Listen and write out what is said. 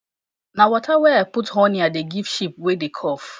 na water wey i put honey i dey give sheep wey dey cough